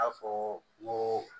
I n'a fɔ n ko